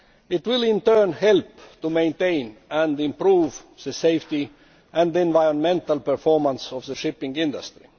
It will in turn help to maintain and improve the safety and the environmental performance of the shipping industry.